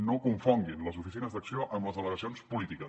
no confonguin les oficines d’acció amb les delegacions polítiques